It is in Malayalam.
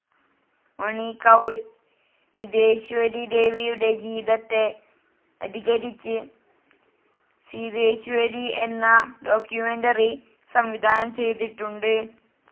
മണി കൗൾ സിദ്ധേശ്വരി ദേവിയുടെ ജീവിതത്തെ അധികരിച്ച് സിദ്ധേശ്വരിഎന്ന ഡോക്യുമെന്ററി സംവിധാനം ചെയ്തിട്ടുണ്ട്.